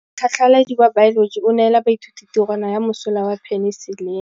Motlhatlhaledi wa baeloji o neela baithuti tirwana ya mosola wa peniselene.